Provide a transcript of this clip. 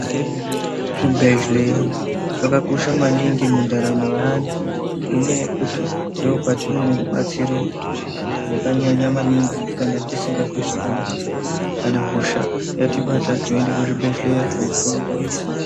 Chibhedhleya chakakosha maningi mundaramo yeantu ngenyaya yekuti ndiko kwatinowana rubatsiro rwakanyanya maningi kana tisingazwi zvakanaka kana hosha yatibata tinoende kuzvibhedhleya kopuwe rubatsiro.